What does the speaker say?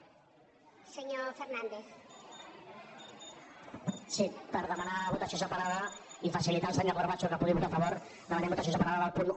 sí per demanar votació separada i facilitar al senyor corbacho que hi pugui votar a favor demanem votació separada del punt un